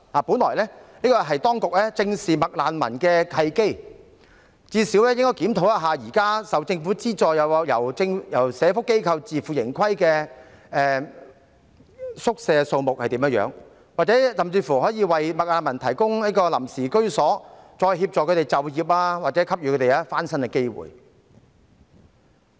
本來這是當局正視"麥難民"問題的契機，至少應該檢討一下現時受政府資助或由社會福利機構自負盈虧的宿舍數目，甚至為"麥難民"提供臨時居所，再協助他們就業或給予翻身的機會。